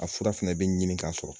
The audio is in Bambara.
A fura fɛnɛ bɛ ɲinin ka sɔrɔ.